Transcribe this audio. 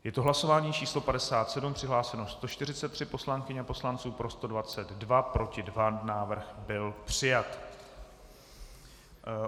Je to hlasování číslo 57, přihlášeno 143 poslankyň a poslanců, pro 122, proti 2, návrh byl přijat.